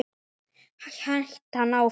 hélt hann áfram.